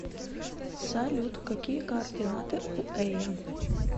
салют какие координаты у эя